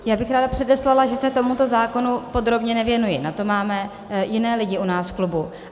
Já bych ráda předeslala, že se tomuto zákonu podrobně nevěnuji, na to máme jiné lidi u nás v klubu.